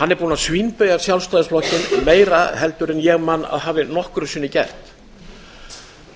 hann er búinn að svínbeygja sjálfstæðisflokkinn meira heldur en ég man að hafi nokkru sinni gert